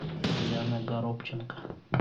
диана горобченко